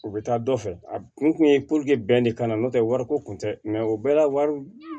U bɛ taa dɔ fɛ a kun ye bɛn de ka na n'o tɛ wariko kun tɛ o bɛɛ la wari